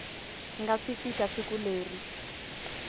nga si fika siku leri